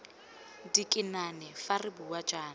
dikinane fa re bua jaana